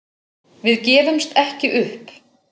Við gefumst ekki upp